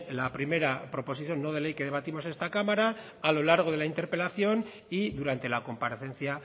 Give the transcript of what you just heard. la primera proposición no de ley que debatimos esta cámara a lo largo de la interpelación y durante la comparecencia